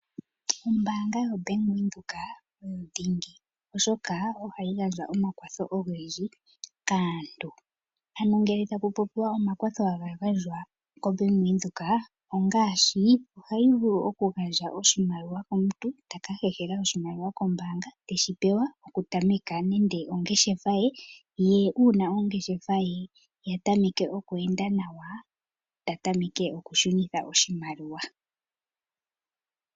Ombaanga yaWindhoek oyo dhingi, oshoka oha yi gandja omakwatho ogendji kaantu. Ano ngele taku popiwa omakwatho ha ga gandjwa kombaanga yaWindhoek, ongaashi, oha yi vulu okugandja oshimaliwa komuntu, ta ka hehela oshimaliwa kombaanga teshi pewa okutameka nande ongeshefa ye, ye uuna ongeshefa ye ya tameke okweenda nawa, ta tameke okushunitha oshimaliwa.